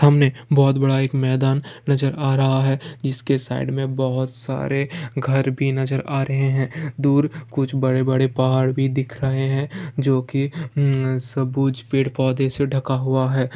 सामने बहुत बड़ा एक मैदान नज़र आ रहा है जिस के साइड में बहुत सारे घर भी नज़र आ रहे है । दूर कुछ बड़े-बड़े पहाड़ भी दिख रहे है जो की हम सब कुछ पेड़-पौधे से ढका हुआ है।